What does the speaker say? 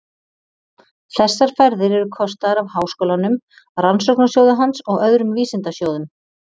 Þessar ferðir eru kostaðar af Háskólanum, Rannsóknasjóði hans og öðrum vísindasjóðum.